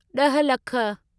ॾहि लखु